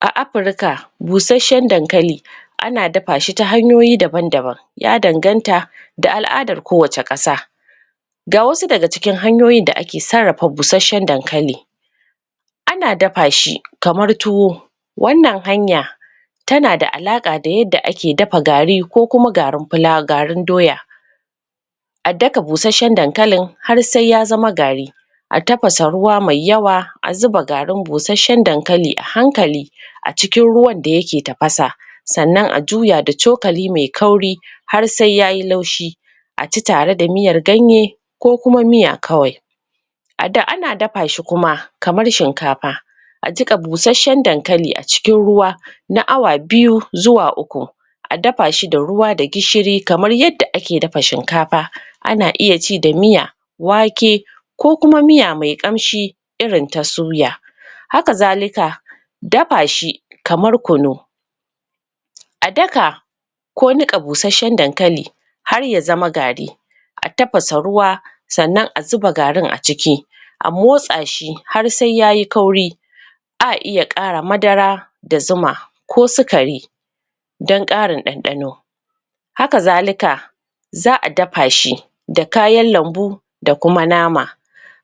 A Afurka busasshen dankali ana dafa shi ta hanyoyi daban daban ya danganta da al'adar kowacce ƙasa ga wasu daga cikin hanyoyin da ake sarrafa busasshen dankali ana dafa shi kamar tuwo wannan hanya tana da alaƙa da yadda ake dafa gari ko kuma garin doya a daka busasshen dankalin har sai ya zama gari a tafasa ruwa mai yawa a zuba garin busasshen dankali a hankali a cikin ruwan da yaek tafasa sannan a juya da cokali mai kauri har sai yayi laushi a ci tare da miyar ganye ko kuma miya kawai ana dafa shi kuma kamar shinkafa a jiƙa busasshen dankali a cikin ruwa na awa biyu zuwa uku a dafa shi da ruwa da gishiri kamar yadda ake dafa shinkafa ana iya ci da miya wake ko kuma miya mai ƙamshi irin ta suya haka zalika dafa shi kamar kunu a daka ko niƙa busasshen dankali har ya zama gari a tafasa ruwa sannan a zuba garin a ciki a motsa shi har sai yayi kauri a iya ƙara madara da zuma ko sukari don ƙarin ɗanɗano haka zalika za a dafa shi da kayan lambu da kuma nama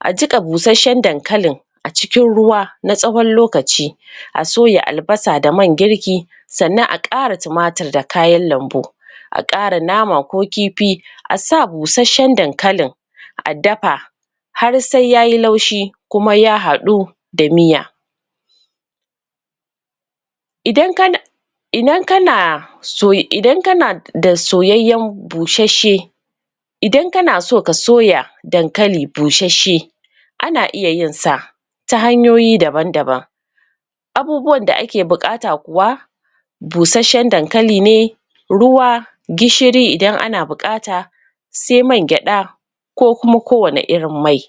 a jiƙa busasshen dankalin a cikin ruwa na tsawon lokaci a soya albasa da man girki sannan a ƙara tumatur da kayan lambu a ƙara nama ko kifi a sa busasshen dankalin a dafa har sai yayi laushi kuma ya haɗu da miya idan kana? idan kana so ka soya dankali busasshe ana iya yinsa ta hanyoyi daban daban abubuwan da ake buƙata kuwa busasshen dankali ne ruwa gishiri idan ana buƙata sai mah gyaɗa ko kuma ko wani irin mai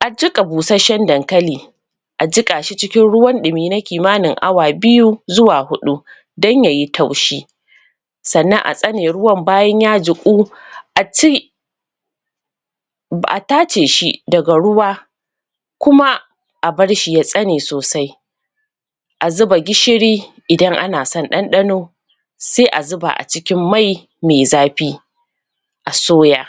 a jiƙa busasshen dankali a jiƙa shi cikin ruwan ɗumi na kimanini awa biyu zuwa huɗu don yayi taushi sannan a tsane ruwan bayan ya jiƙu a ci a tace shi daga ruwa kuma a bar shi ya tsane sosai a zuba gishiri idan ana son ɗanɗano sai a zuba a cikin mai mai zafi a soya.